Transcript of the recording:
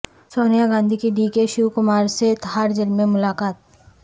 سونیاگاندھی کی ڈی کے شیو کمار سے تہاڑجیل میں ملاقات